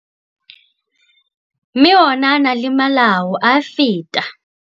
Mme ona a na le malao a feta.